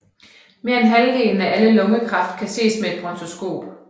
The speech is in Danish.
Mere end halvdelen af al lungekræft kan ses med et bronkoskop